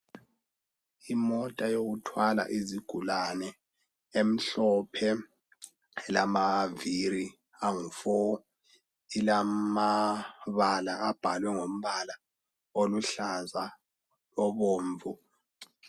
Imota yokuthwala izigulane emhlophe ,ilamaviri angu four. Ilamabala abhalwe ngombala oluhlaza obomvu.